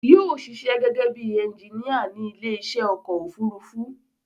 Yóò ṣiṣẹ́ gẹ́gẹ́bí ẹnginíà ní ilé iṣẹ́ ọkọ̀ òfurufú